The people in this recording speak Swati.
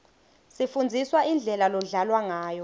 sifundziswa indlela lodlalwa ngayo